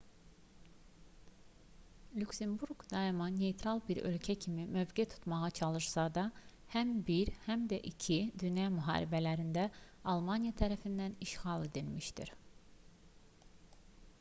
lüksemburq daima neytral bir ölkə kimi mövqe tutmağa çalışsa da həm i həm də ii dünya müharibələrində almaniya tərəfindən işğal edilmişdi